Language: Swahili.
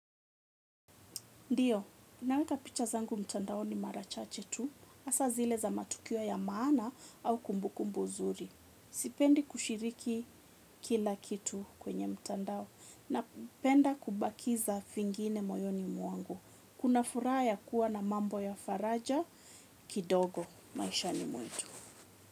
Ndiyo, naweka picha zangu mtandaoni mara chache tu. Hasa zile za matukio ya maana au kumbukumbu nzuri. Sipendi kushiriki kila kitu kwenye mtandao. Napenda kubakisha vingine moyoni mwangu. Kuna furaha ya kuwa na mambo ya faraja kidogo maishani mwetu.